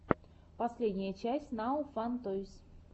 последняя часть нао фан тойс